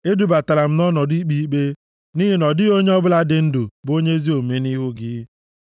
Edubatala m nʼọnọdụ ikpe m ikpe, nʼihi na ọ dịghị onye ọbụla dị ndụ bụ onye ezi omume nʼihu gị. + 143:2 \+xt Job 4:17; 9:2; Ekl 7:20\+xt*